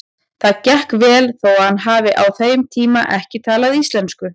Það gekk vel þó hann hafi á þessum tíma ekki talað íslensku.